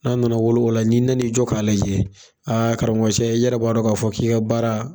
N'a nana wolo o la, n'i nan'i jɔ k'a lajɛ, karamɔgcɛ, i yɛrɛ b'a dɔn k'a fɔ k'i ka baara